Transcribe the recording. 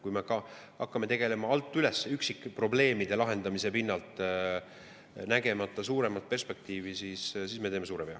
Kui me hakkame tegelema alt üles üksikprobleemide lahendamisega, nägemata suuremat perspektiivi, siis me teeme suure vea.